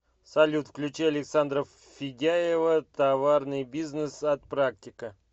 салют включи александра федяева товарный бизнес от практика